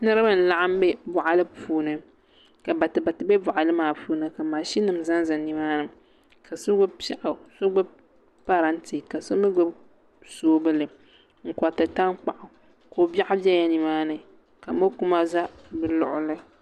Niraba n laɣam bɛ boɣali puuni ka batibati bɛ boɣali maa puuni ka mashini ʒɛnʒɛ nimaani ka so gbubi parantɛ ka so mii gbubi soobuli n koriti tankpaɣu ko biɛɣu biɛla nimaani ka mokuma ʒɛ bi luɣuli